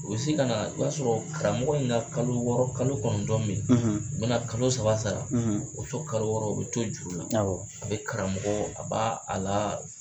U bɛ se ka na o b'a sɔrɔ karamɔgɔ in ka kalo wɔɔrɔ kalo kɔnɔntɔn bɛ ye u bɛ na kalo saba sara o tɔ kalo wɔɔrɔ u bɛ to juru la a bɛ karamɔgɔ a b'a a la